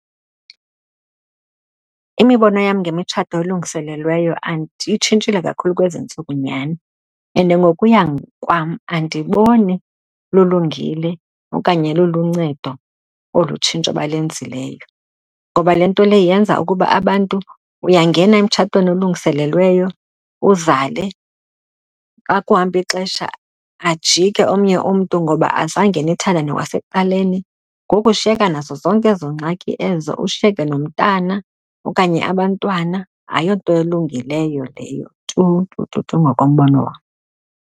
Imibono yam ngemitshato elungiselelweyo itshintshile kakhulu kwezi ntsuku nyhani and ngokuya kwam andiboni lulungile okanye luluncedo olu tshintsho balenzileyo. Ngoba le nto leyo yenza ukuba abantu, uyangena emtshatweni olungiselelweyo uzale, xa kuhamba ixesha ajike omnye umntu ngoba azange ndithandane kwasekuqaleni. Ngoku ushiyeka nazo zonke ezo ngxaki ezo, ushiyeke nomntana okanye abantwana. Ayonto elungileyo leyo tu tu tu tu ngokombono wam.